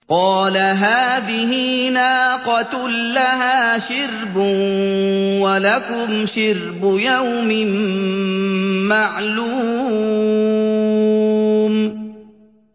قَالَ هَٰذِهِ نَاقَةٌ لَّهَا شِرْبٌ وَلَكُمْ شِرْبُ يَوْمٍ مَّعْلُومٍ